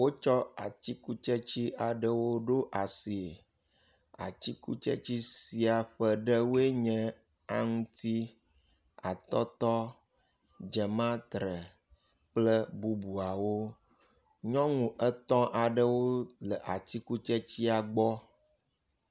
Wotsɔ atikutsetse aɖewo ɖo asie. Atikutsetse sia ƒe ɖewoe nye; aŋtsi, atɔtɔ, dzematre kple bubuawo. Nyɔnu etɔ̃ aɖewo le atikutsetsea gbɔ.